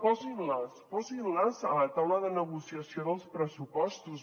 posin les posin les a la taula de negociació dels pressupostos